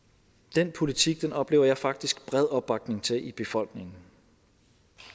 den politik oplever jeg faktisk bred opbakning til i befolkningen